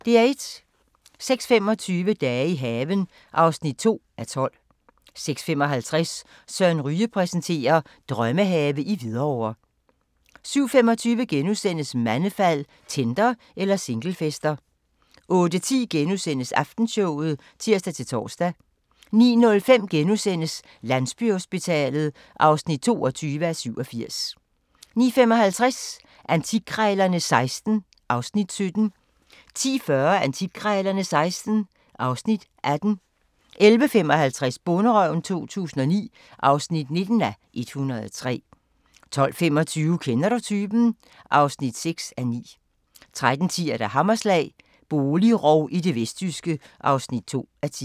06:25: Dage i haven (2:12) 06:55: Søren Ryge præsenterer: Drømmehave i Hvidovre 07:25: Mandefald – Tinder eller singlefester? (3:4)* 08:10: Aftenshowet *(tir-tor) 09:05: Landsbyhospitalet (22:87)* 09:55: Antikkrejlerne XVI (Afs. 17) 10:40: Antikkrejlerne XVI (Afs. 18) 11:55: Bonderøven 2009 (19:103) 12:25: Kender du typen? (6:9) 13:10: Hammerslag – boligrov i det vestjyske (2:10)